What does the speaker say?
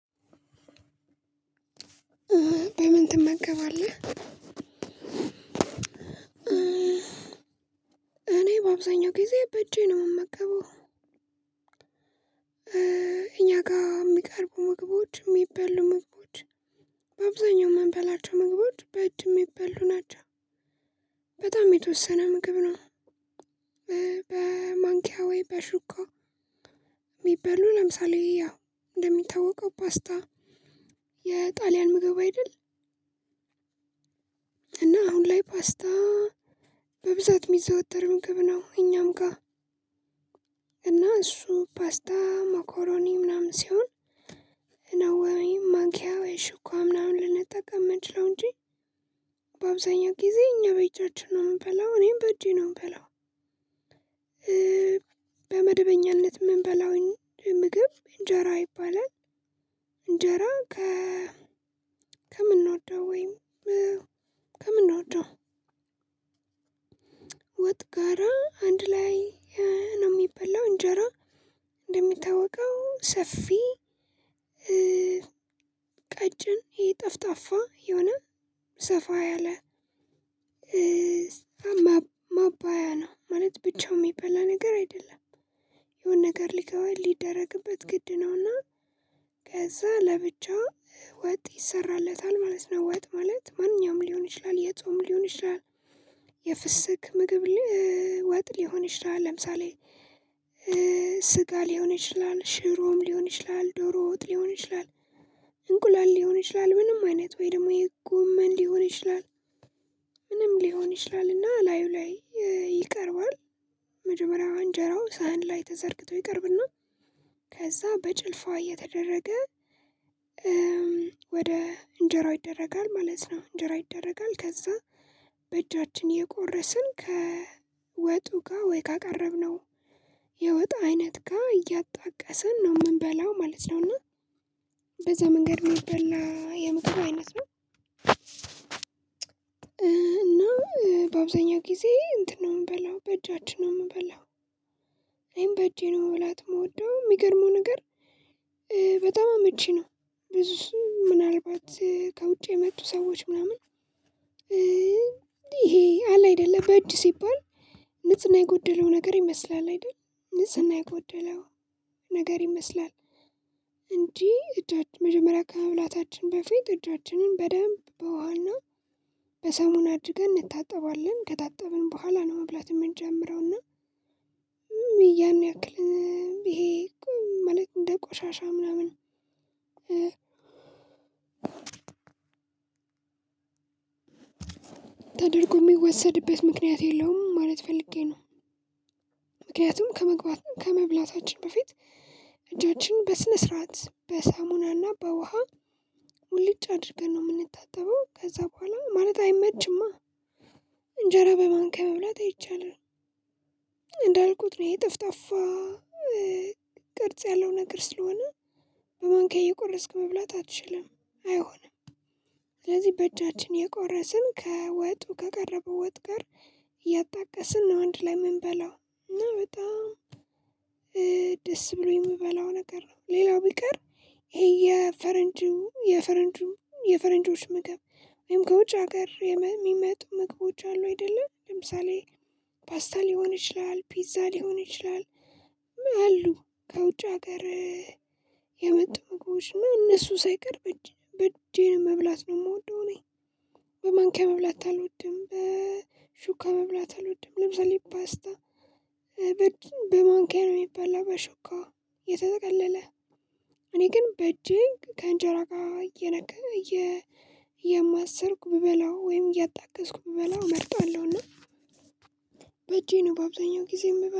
በምን? ትመገባለህ እኔ በአብዛኛው ጊዜ በእጄ ነው ምመገበው ጋ የሚቀርቡ ምግቦች የሚበሉ ምግቦች በአብዛኛው ምንበላቸው ምግቦች በእጅ የሚበሉ ናቸው። በጣም የተወሰነ ምግብ ነው። በማንኪያ ወይ በሹካ ሚበሉ ለምሳሌ ያው እንደሚታወቀው ፓስታ የጣልያን ምግብ አይደል? እና አሁን ላይ ፓስታ የሚዘወተር ምግብ ነው። እኛም ጋር እና እሱ ፓስታ ሞኮሮኒ ምናምን ሲሆን ነው ወይ ማኪያ ወይ ሽኳ ምናምን ልንጠቀም ምንችለው ነው እንጂ በአብዛኛው ጊዜ እኛ በእጃችን ነው የምንበላው እኔም በእጄ ነው ምበላው። በመደበኛነት ምንበላው ምግብ እንጀራ ይባላል። እንጀራ ከ ከምንወደው ወይም ከምንወደው ወጥጋራ አንድ ላይ ነው የሚበላው እንጀራ። እንደሚታወቀው ሰፊ ቀጭን ይጠፍጣፋ የሆነ ሰፋ ያለ ማባያ ነው ማለት ብቻው ሚበላ ነገር አይደለም። የሆነ ነገር ሊገባ ሊደረግበት ግድ ነውና ከዛ ለብቻው ወጥ ይሰራለታል ማለት ነው። ወጥ ማለት ማንኛውም ሊሆን ይችላል የጾም ሊሆን ይችላል። የፍስክ ምግብ ወጥ ሊሆን ይችላል ለምሳሌ ስጋ ሊሆን ይችላል ሽሮም ሊሆን ይችላል ዶሮ ወጥ ሊሆን ይችላል። እንቁላል ሊሆን ይችላል ምንም አይነት ወይ ደግሞ የጎመን ሊሆን ይችላል ምንም ሊሆን ይችላልና ላዩ ላይ ይቀርባል። መጀመሪያው እንጀራው ሳህን ላይ ተዘርግቶ ይቀርብና ከዛ በጭልፋ እየተደረገ እንጀራው ይደረጋል ማለት ነው። እንጀራው ይደረጋል ከዛ በእጃችን እየቆረስን ከወጡ ጋ ወይ ካቀረብነው የወጥ አይነት ጋ እያጣቀሰን ነው ምንበላው ማለት ነው። እና በዛ መንገድ ሚበላ የምግብ አይነት ነው። እና በአብዛኛው ጊዜ እንትን ነው የምበላው በእጃችን ነው ምበላው። እኔም በእጄ ነው መብላት ምወደው ሚገርመው ነገር በጣም አመቺ ነው። ብዙስ ምናልባት ከውጭ የመጡ ሰዎች ምናምን ይሄ አለ አይደለም በእጅ ሲባል ንጽና የጎደለው ነገር ይመስላል አይደል? ንጽህና የጎደለው ነገር ይመስላል። እንጂ እጃችን መጀመሪያ ከመብላታችን በፊት እጃችንን በደንብ በውሃና በሳሙና አድርገን እንታጠባለን ከታጠብን በኋላ ነው መብላት የምንጀምረውና። ያክል ይሄ እኮ መልእክት እንደ ቆሻሻ ምናምን ተደርጎ የሚወሰድበት ምክንያት የለውም ማለት ፈልጌ ነው። ምክንያቱም ከመግባት ከመብላታችን በፊት እጆችን በስነ ስርዓት በሳሙናና በውሃ ሙልጭ አድርገን ነው የምንታጠበው ከዛ በኋላ ማለት አይመችማ። እንጀራ በማንኪያ መብላት አይቻልም። እንዳልኩት ነው ይሄ ጠፍጣፋ ቅርጽ ያለው ነገር ስለሆነ በማንካዬ እየቆረስክ መብላት አትችልም አይሆንም። ስለዚህ በእጃችን የቆረስን ከወጡ ከቀረበ ወጥ ጋ እያጣቀስን ነው አንድ ላይ ምንበላው እና በጣም ደስ ብሎኝ የምበላው ነገር ነው። ሌላው ቢቀር ይሄ የፈረንጁ የፈረንጁ የፈረንጆች ምግብ ወይም ከውጭ ሀገር የሚመጡ ምግቦች አሉ አይደለ? ለምሳሌ ፓስታ ሊሆን ይችላል ፒዛ ሊሆን ይችላል። አሉ ከውጭ ሀገር የመጡ ምግቦች እና እነሱ ሳይቀር በእጄ መብላት ነው የምወደው እኔ። በማንኪያ መብላት አልወድም በሹካ መብላት አልወድም ለምሳሌ ፓስታ በግን በማንኪያ ነው የሚባላው በሹካው የተጠቀለለ እኔ ግን በእጄ ከእንጀራ ጋር እየነካ እየ እየማሰርኩ ብበላው ወይም እያጣገስኩ ብበላው እመርጣለሁ። እና በእጄ ነው በአብዛኛው ጊዜ የምበላው